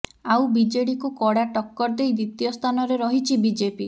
ଆଉ ବିଜେଡିକୁ କଡ଼ା ଟକ୍କର ଦେଇ ଦ୍ବିତୀୟ ସ୍ଥାନରେ ରହିଛି ବିଜେପି